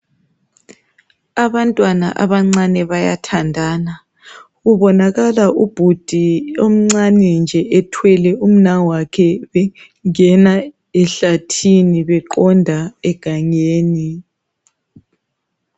Abantwana abancane bayathandana kubonakala ubhudi omncane nje ethwele umnawakhe bengena ehlathini beqonda egangeni.